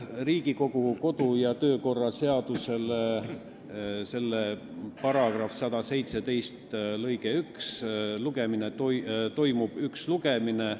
Riigikogu kodu- ja töökorra seaduse § 117 lõike 1 alusel toimub üks lugemine.